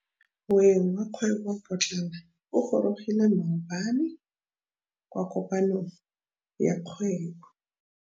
Moêng wa dikgwêbô pôtlana o gorogile maabane kwa kopanong ya dikgwêbô.